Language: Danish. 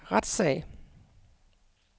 retssag